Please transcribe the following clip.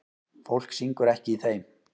Fólk syngur ekki í þeim.